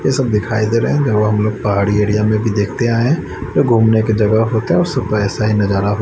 ये सब दिखाई दे रहे हैं हम लोग पहाड़ी एरिया में भी देखते आये हैं जो घूमने की जगह होता है और सुबह ऐसा ही नजारा--